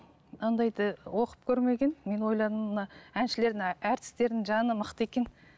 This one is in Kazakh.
ондайды оқып көрмеген мен ойладым мына әншілердің әртістердің жаны мықты екен